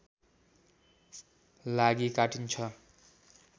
लागि काटिन्छ